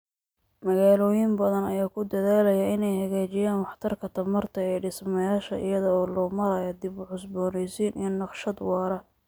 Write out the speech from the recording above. Magaalooyin badan ayaa ku dadaalaya inay hagaajiyaan waxtarka tamarta ee dhismayaasha iyada oo loo marayo dib-u-cusboonaysiin iyo naqshad waara.